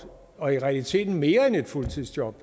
og i realiteten mere end et fuldtidsjob